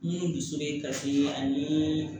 Minnu dusu bɛ kasi ani